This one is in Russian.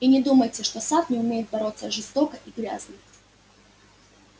и не думайте что сатт не умеет бороться жестоко и грязно